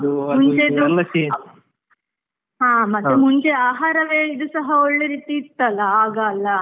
ಹಾ ಮತ್ತೆ ಮುಂಚೆ ಆಹಾರವೇ ಇದು ಸಹ ಒಳ್ಳೆ ರೀತಿ ಇತ್ ಅಲಾ ಆಗ ಅಲಾ.